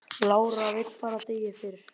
Lára vill fara degi fyrr